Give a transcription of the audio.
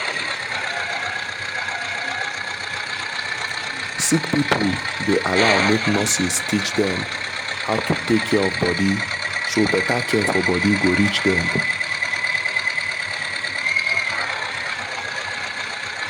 sick people dey allow make nurses teach dem how to take care of body so better care for body go reach dem